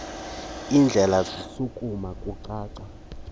indlebe zishukuma kucaca